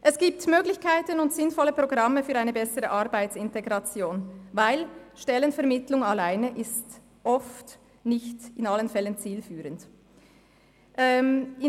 Es gibt Möglichkeiten und sinnvolle Programme für eine bessere Arbeitsintegration, weil Stellenvermittlung alleine oft nicht in allen Fällen zielführend ist.